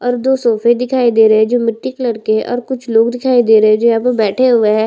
और जो सोफे दिखाई दे रहे है जो मिट्टी कलर के है और कुछ लोग दिखाए दे रहे है जो यहाँ पर बैठे हुए है।